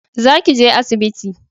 Za ki je asibiti